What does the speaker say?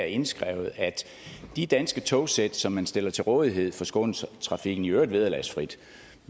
indskrevet at de danske togsæt som man stiller til rådighed for skånetrafiken i øvrigt vederlagsfrit